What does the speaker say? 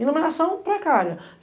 Iluminação precária.